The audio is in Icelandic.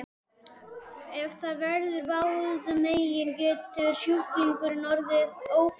Ef það verður báðum megin getur sjúklingurinn orðið ófrjór ævilangt.